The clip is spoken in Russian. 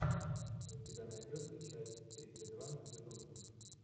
у тебя найдется часть тридцать два безумцев